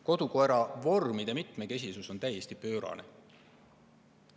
Kodukoera vormide mitmekesisus on täiesti pöörane.